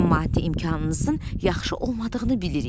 Sizin maddi imkanınızın yaxşı olmadığını bilirik.